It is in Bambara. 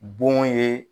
Bon ye